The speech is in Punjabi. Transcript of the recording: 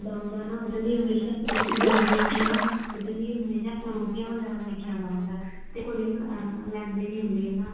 ਮੁੰਡਾ ਹੁੰਦਾ ਨਾ ਉਹ ਜਿਹੜੀ daily ਹਮੇਸ਼ਾ frooti ਗਰਮੀ ਹੁੰਦੀ ਨਾ ਉਹਦੇ ਲਈ ਹਮੇਸ਼ਾ ਫਰੂਟੀਆਂ ਵਗੇਰਾ ਲੈ ਕੇ ਆਉਂਦਾ ਹੁੰਦਾ ਤੇ ਕੁੜੀ ਨਾ ਆ ਲੈਂਦੀ ਨੀ ਹੁੰਦੀ ਹਨਾ